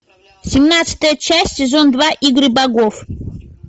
семнадцатая часть сезон два игры богов